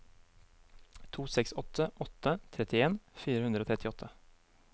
to seks åtte åtte trettien fire hundre og trettiåtte